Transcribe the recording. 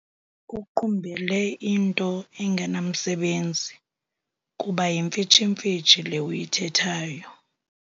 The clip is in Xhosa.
Uqumbele into engenamsebenzi kuba yimfitshimfitshi le uyithethayo.